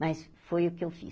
Mas foi o que eu fiz.